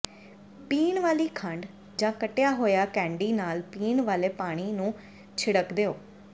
ਪੀਣ ਵਾਲੀ ਖੰਡ ਜਾਂ ਕੱਟਿਆ ਹੋਇਆ ਕੈਂਡੀ ਨਾਲ ਪੀਣ ਵਾਲੇ ਪਾਣੀ ਨੂੰ ਛਿੜਕ ਦਿਓ